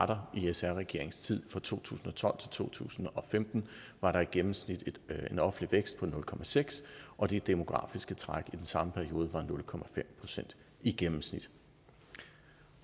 der i sr regeringens tid fra to tusind og tolv til to tusind og femten var der i gennemsnit en offentlig vækst på nul seks og det demografiske træk i den samme periode var nul procent i gennemsnit